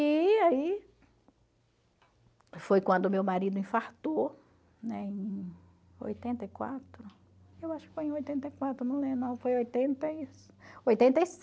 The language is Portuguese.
E aí, foi quando meu marido infartou, né, em oitenta e quatro, eu acho que foi em oitenta e quatro, não foi